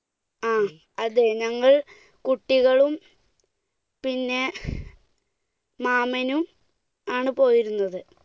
ങ്ഹാ. അതേ. ഞങ്ങൾ കുട്ടികളും പിന്നെ മാമനും ആണ് പോയിരുന്നത്.